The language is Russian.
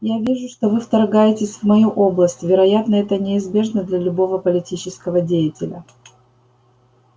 я вижу что вы вторгаетесь в мою область вероятно это неизбежно для любого политического деятеля